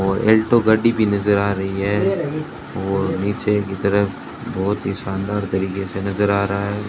और अल्टो गाड़ी भी नजर आ रही है और नीचे की तरफ बहुत ही शानदार तरीके से नजर आ रहा है।